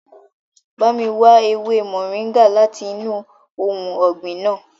Ba mi wa ewe moringa lati inu ohun ọgbin naa!